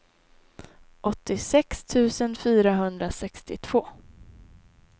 åttiosex tusen fyrahundrasextiotvå